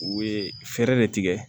U ye fɛɛrɛ de tigɛ